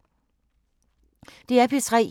DR P3